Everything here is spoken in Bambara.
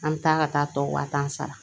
An bɛ taa ka taa tɔ wa tan sara